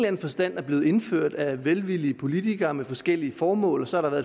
anden forstand er blevet indført af velvillige politikere med forskellige formål og så har der